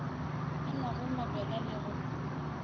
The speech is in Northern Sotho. ba nwago mabjala le go